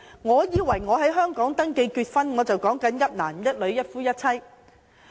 我以為在香港登記結婚，便是指"一男一女"、"一夫一妻"。